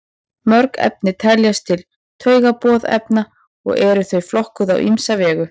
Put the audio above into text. mörg efni teljast til taugaboðefna og eru þau flokkuð á ýmsa vegu